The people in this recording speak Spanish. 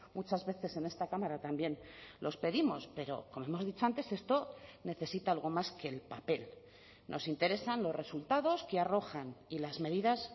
muchas veces en esta cámara también los pedimos pero como hemos dicho antes esto necesita algo más que el papel nos interesan los resultados que arrojan y las medidas